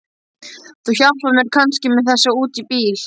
Þú hjálpar mér kannski með þessa út í bíl?